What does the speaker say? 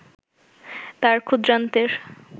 তাঁর ক্ষুদ্রান্ত্রের